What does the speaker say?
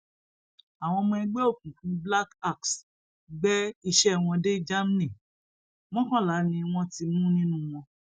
àwọn ọmọ ẹgbẹ òkùnkùn black axẹgbẹ iṣẹ wọn dé germany mọkànlá ni wọn ti mú nínú wọn